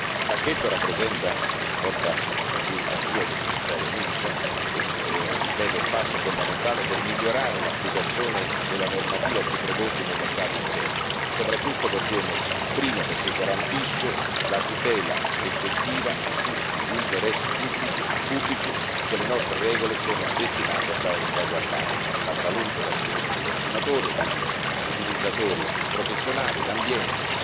Il pacchetto, che porta la mia firma e quella del Commissario Mimica, è un passo fondamentale per migliorare l'applicazione della normativa sui prodotti nel mercato interno, soprattutto per due motivi. Il primo, perchè garantisce la tutela effettiva di tutti gli interessi pubblici che le nostre regole sono destinate a salvaguardare la salute e la sicurezza dei consumatori e degli utilizzatori professionali e l'ambiente.